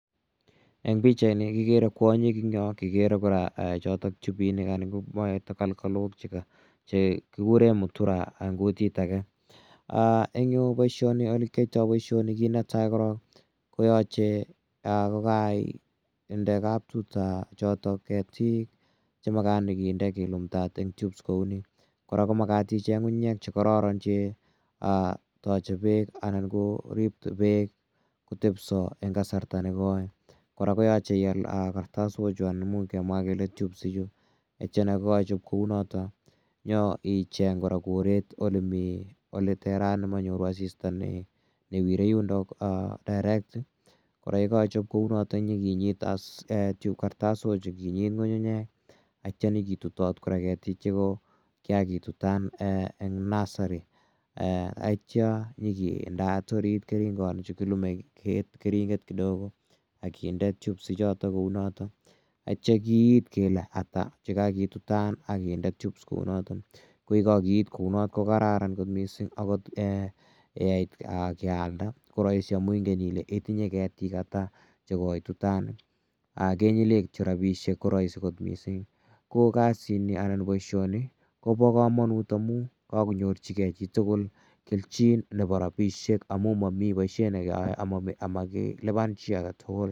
Eng' pichaini kikere kwonyik eng' yo, kikere kora chotok tubinik anan ko takalkalok che kikure mutura eng' kutik age. Eng' yu ole kiyaitai poishoni, kiit netai korok ko yache kokainde kaptuta chotok ketiik che makat nyikinde kelumdaat en tubes kou ni. Kora ko makat icheng' ng'ung'unyek che kararan che tache peek anan korip peek kotepsa eng' kasarta ne koi. Kora koyache ial kartasochu anan imuch kemwa kele tubes ichu. Tetya ye kaichop kou notok nyi cheng' kora koret ole mi ole terat le ma nyoru asista ne wirei yundok direct. Kora ye kaichop kou notok nyi kinyit as kartasochu, kinyit ng'ung'unye atia nyi ki tutat kora ketik che kikakitutan eng' nursery atia nyi kindeat oriit keringanichu kilume keringet kidogo ak kinde tubes ichotok kou notok atia kiit kele ata che kakitutan ak kinde tubes kou noton. Ko ye kakiit kou not ko kararan kot missing' akot ye kait kealda ko raisi amu ingen ile itinye ketik ata che koitutan, kenyile kityo rapishek ko raisi kot missing'. Ko kasini anan poishoni ko pa kamanut amu kakonyorchigei chi tugul kelchin nepo rapishek amu mami poishet ne keyae ama kilipan chi age tugull.